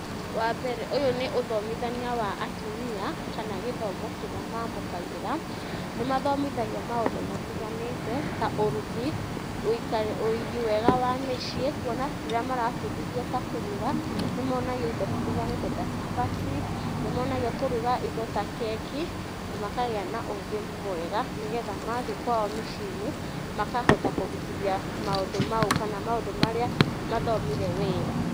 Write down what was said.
Wambere, ũyũ nĩ ũthomithania wa atumia, kana gĩthomo kĩrĩa mamũkagĩra, nĩ mathomithagio maũndũ matiganĩte, ta ũrugi, ũigi mwega wa mĩciĩ, kuona rĩrĩa marabundithio ta kũruga, nĩ monagio indo citiganĩte ta cabaci, nĩmonagio kũruga indo ta keki na makagĩa na ũgĩ mwega, nĩgetha mathiĩ kwao mĩciĩ-inĩ makahota kũruthia maũndũ mau kana maũndũ marĩa mathomire wĩra.